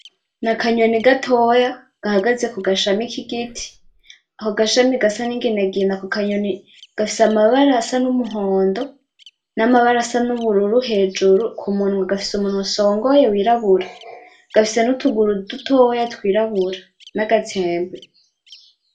Ni akanyoni gatoya gahagaze kugashami k'igiti ako gashami gasa n'inginagina ako kanyoni gafise amabara asa n'umuhondo n'amabara asa n'ubururu hejuru ku munwa gafise umunwa usongoye w'irabura, gafise n'utuguru dutoya tw'irabura n'agatsembe.